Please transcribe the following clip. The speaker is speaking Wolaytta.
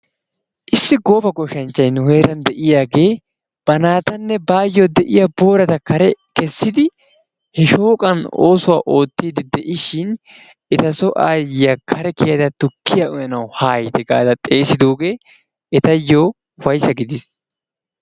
Issi gooba goshshanchchayi nu heeran de"iyagee ba naatanne baayyo de"iya booratakka kare kessidi he shooqan oosuwa oottiiddi de"ishin etasoo aayyiya kare kiyada tukkiya uyanawu haayite gaada xeesidoogee etayyo ufayssa gidis.